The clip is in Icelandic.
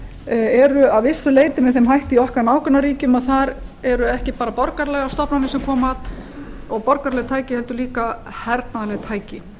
eru að vissu leyti með þeim hætti í okkar nágrannaríkjum að þar eru ekki bara borgaralegar stofnanir sem koma að og borgaraleg tæki heldur líka hernaðarleg tæki